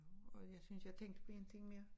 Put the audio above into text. Og jeg synes jeg tænkte på én ting mere